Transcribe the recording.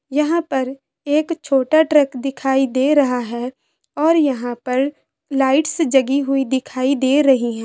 यहाँ पर एक छोटा ट्रक दिखाई दे रहा है और यहाँ पर लाइट्स जगी हुई दिखाई दे रहीं हैं।